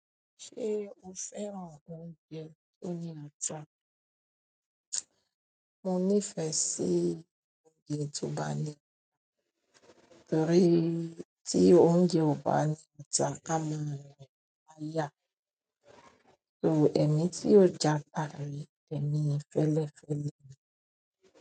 Ṣé o fẹ́ràn oúnjẹ oní ata? Mo nífẹ̀ẹ́ sí oúnjẹ ti o ba ni, torí tí oúnjẹ ọba ni ata a máa rin yan láyá. So èmi tí ó ja farì, èmi ń fẹ́lẹ́ fẹ́lẹ́ ni.